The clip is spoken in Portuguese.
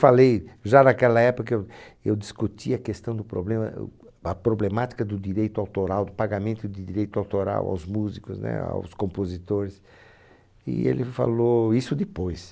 Falei, já naquela época, eu eu discuti a questão do problema, o a problemática do direito autoral, do pagamento de direito autoral aos músicos, né? Aos compositores, e ele falou isso depois.